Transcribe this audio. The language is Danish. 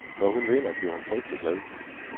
Når hun vinder, bliver hun frygtelig glad.